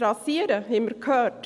Das Rasieren, haben wir gehört.